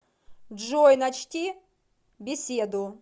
джой начти беседу